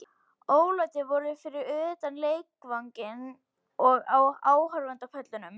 Ólæti voru fyrir utan leikvanginn og á áhorfendapöllunum.